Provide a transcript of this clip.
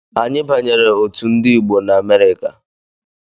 Anyị banyere otu Ndigbo na Amerịka.